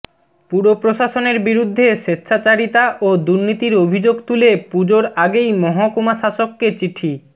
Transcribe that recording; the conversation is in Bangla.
পুর প্রশাসনের বিরুদ্ধে স্বেচ্ছাচারীতা ও দুর্নীতির অভিযোগ তুলে পুজোর আগেই মহকুমাশাসককে চিঠি